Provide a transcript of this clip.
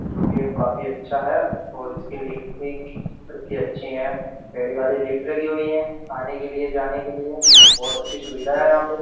जो कि ये काफी अच्छा है और इसकी लिफ्ट इतनी अच्छी है पहली वाली लिफ्ट लगी हुई है आने के लिए जाने के लिए बहुत अच्छी सुविधा है यहां पे --